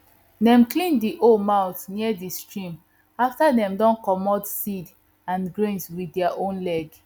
dem clean the hoe mouth near the stream after dem don comot seed and grain with their own leg